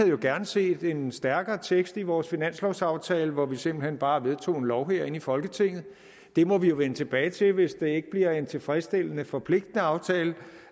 jo gerne set en stærkere tekst i vores finanslovsaftale hvor vi simpelt hen bare vedtog en lov herinde i folketinget det må vi jo vende tilbage til hvis det ikke bliver en tilfredsstillende forpligtende aftale